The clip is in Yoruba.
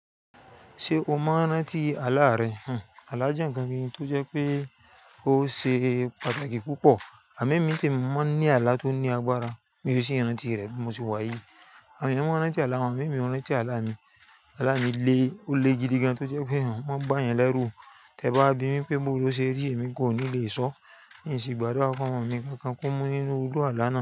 Ṣé o maa n rantí ààlà rẹ? Ààlà jẹ́ ǹkan kan tó jẹ́ pé ó ṣe pàtàkì púpọ̀. Àmo emí nì tí mi mọ ní ààlà tó ní agbára, mi ò sì ranti rẹ̀ bí mo ṣe wáyi. Àwon eeyan, maa n rantí ààlà won amo emí, oo ranti ààlà mi aala mi le, ó le gidi gan tó jẹ́ pé wọn bá yan lẹ́rú. Tẹ ba bi mí pé ìbò ló ṣe rí èmi gan oo ní lè sọ. Ní ìsìn gbádùrà ki ọmọ mi kankan kó mú nínú iru àlà náà.